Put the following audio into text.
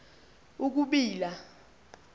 i i ukubila